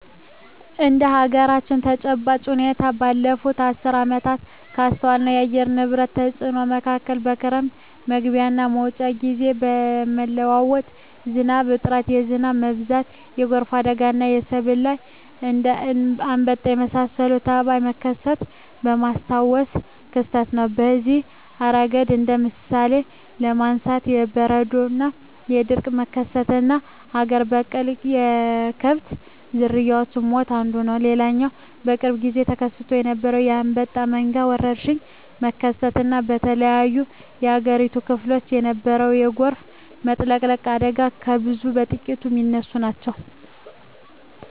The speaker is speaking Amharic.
እንደ አገራችን ተጨባጭ ሁኔታ ባለፋት አስርት ዓመታት ካስተዋልኳቸው የአየር ንብረት ተጽኖ መካከል የክረም መግቢያና መውጫ ግዜ የመለዋወጥ፣ የዝናብ እጥረት፣ የዝናብ መብዛት፣ የጎርፍ አደጋና በሰብል ላይ እንደ አንበጣ የመሳሰለ ተባይ መከሰት የማስታውሰው ክስተት ነው። በዚህ እረገድ እንደ ምሳሌ ለማንሳት የቦረና የድርቅ መከሰትና አገር በቀል የከብት ዝርያወች ሞት አንዱ ነው። ሌላው በቅርብ ግዜ ተከስቶ የነበረው የአንበጣ መንጋ ወረርሽኝ መከሰት እና በተለያዮ የአገሪቱ ክፍሎች የነበረው የጎርፍ መጥለቅለቅ አደጋ ከብዙ በጥቂቱ ሚነሱ ናቸው።